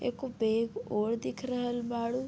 एकगो बैग और दिख रहल बाड़ू।